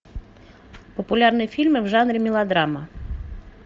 популярные фильмы в жанре мелодрама